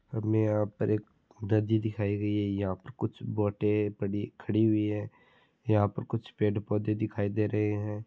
हमे यहाँ पर एक नदी दिखाय गयी है यहा पर कुछ बोटे ऐ पड़ी खड़ी हुई है यहाँ पर कुछ पेड़ पोधे दिखाय दे रहे है।